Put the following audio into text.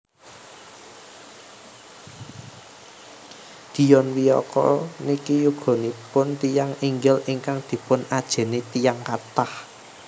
Dion Wiyoko niki yuganipun tiyang inggil ingkang dipun ajeni tiyang kathah